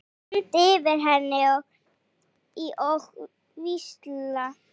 Stend yfir henni og hvísla.